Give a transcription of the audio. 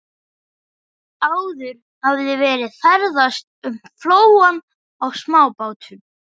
Áður hafði verið ferðast um flóann á smábátum.